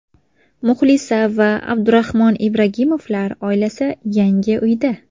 Muxlisa va Abdurahmon Ibragimovlar oilasi yangi uyda.